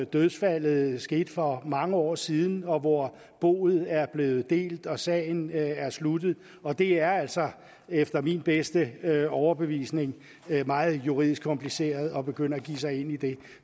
dødsfaldet skete for mange år siden og hvor boet er blevet delt og sagen sluttet og det er altså efter min bedste overbevisning meget juridisk kompliceret at begynde at begive sig ind i det